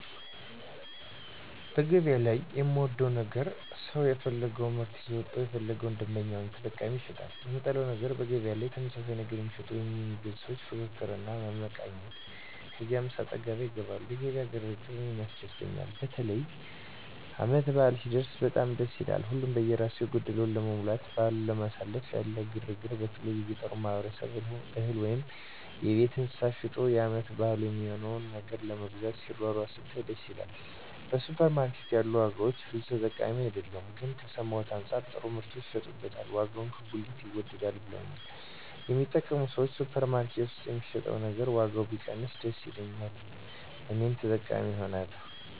በገበያ ላይ የምወደው ነገር ሰው የፈለገወን ምርት ይዞ ወጥቶ ለፈለገው ደንበኛ ወይም ተጠቃሚ ይሸጣል። የምጠላው ነገር በገበያ ላይ ተመሳሳይ ነገር የሚሸጡ ወይም የሚገዙ ሰዎች ፍክክር እና መመቃቀን ከዚያ አሰጣገባ ይገባሉ። የገበያ ግር ግር እኔን ያስደስተኛል። በተለይ ዓመት በዓል ሲደረስ በጣም ደስ ይላል። ሀሉም በየራሱ የጎደለውን ለመሙላትና በዓልን ለማሳለፍ ያለ ግር ግር በተለይ የገጠሩ ማህበረሰብ እህል ወይም የቤት እንስሳት ሸጦ የዓመት በዓል የሚሆነውን ነገር ለመግዛት ሲሯሯጥ ስታይ ደስ ይላል። በሱፐር ማርኬት ያሉ ዋጋዎች ብዙም ተጠቃሚ አይደለሁም ግን ከሰማሁት አንጻር ጥሩ ምርቶች ይሸጡበታል ዋጋውም ከጉሊት ይወደዳል ብለውኛል የሚጠቀሙ ሰዎች። ሱፐር ማርኬት ውስጥ የሚሸጥ ነገር ዋጋው ቢቀንስ ደስ ይለኛል እኔም ተጠቃሚ እሆናለሁ።